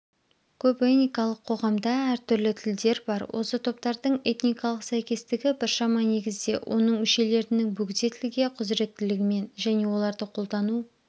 көпэникалық қоғамда әртүрлі тілдер бар осы топтардың этникалық сәйкестігі біршама негізде оның мүшелерінің бөгде тілге құзыреттілігімен және оларды қолдану